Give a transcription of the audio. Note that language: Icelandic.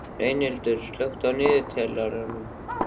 Reynhildur, slökktu á niðurteljaranum.